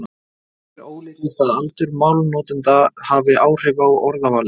Ekki er ólíklegt að aldur málnotenda hafi áhrif á orðavalið.